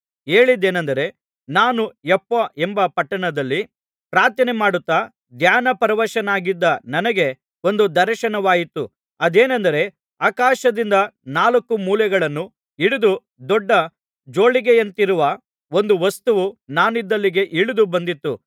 ಹೇಳಿದ್ದೇನಂದರೆ ನಾನು ಯೊಪ್ಪ ಎಂಬ ಪಟ್ಟಣದಲ್ಲಿ ಪ್ರಾರ್ಥನೆಮಾಡುತ್ತಾ ಧ್ಯಾನಪರವಶನಾಗಿದ್ದ ನನಗೆ ಒಂದು ದರ್ಶನವಾಯಿತು ಅದೇನೆಂದರೆ ಆಕಾಶದಿಂದ ನಾಲ್ಕು ಮೂಲೆಗಳನ್ನು ಹಿಡಿದು ದೊಡ್ಡ ಜೋಳಿಗೆಯಂತಿರುವ ಒಂದು ವಸ್ತುವು ನಾನಿದ್ದಲ್ಲಿಗೆ ಇಳಿದು ಬಂದಿತು